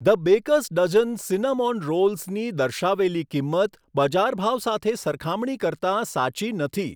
The Baker's Dozen cinnamon રોલ્સની દર્શાવેલી કિંમત બજાર ભાવ સાથે સરખામણી કરતાં સાચી નથી.